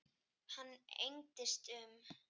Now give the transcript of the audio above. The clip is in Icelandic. Hann engdist um.